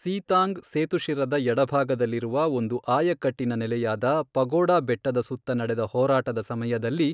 Sittang ಸೇತುಶಿರದ ಎಡಭಾಗದಲ್ಲಿರುವ ಒಂದು ಆಯಕಟ್ಟಿನ ನೆಲೆಯಾದ ಪಗೋಡಾ ಬೆಟ್ಟದ ಸುತ್ತ ನಡೆದ ಹೋರಾಟದ ಸಮಯದಲ್ಲಿ,